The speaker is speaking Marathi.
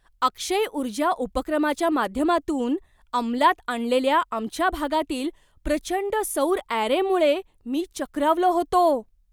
अक्षय ऊर्जा उपक्रमाच्या माध्यमातून अंमलात आणलेल्या आमच्या भागातील प्रचंड सौर अॅरेमुळे मी चक्रावलो होतो.